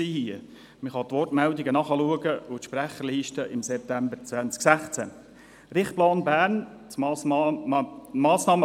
Man kann die Wortmeldungen nachlesen und die Sprecherliste von September 2016 einsehen.